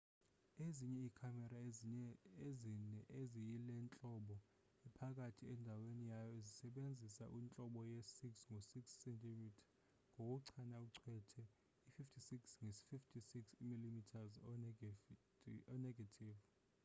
ezinye ii-camera ezine eziyilentlobo ephakathi endaweni yayo zisebenzisa intlobo ye-6 ngo 6 cm ngokuchana ucwethe i-56 nge 56 mm o-negative